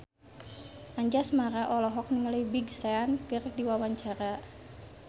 Anjasmara olohok ningali Big Sean keur diwawancara